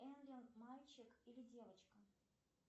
энлин мальчик или девочка